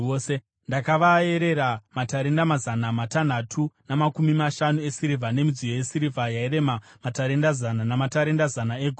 Ndakavaerera matarenda mazana matanhatu namakumi mashanu esirivha, nemidziyo yesirivha yairema matarenda zana , namatarenda zana egoridhe,